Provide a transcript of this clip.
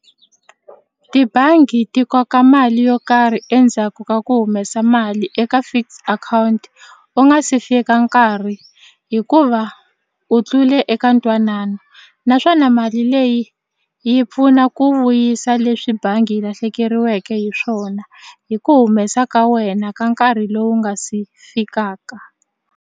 Tibangi ti koka mali yo karhi endzhaku ka ku humesa mali eka fixed akhawunti u nga se fika nkarhi hikuva u tlule eka ntwanano naswona mali leyi yi pfuna ku vuyisa leswi bangi yi lahlekeriweke hi swona hi ku humesa ka wena ka nkarhi lowu nga si fikaka.